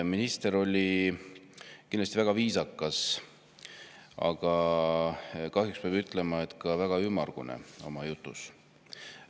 Minister oli kindlasti väga viisakas, aga kahjuks peab ütlema, et ka väga ümmargune oma jutus.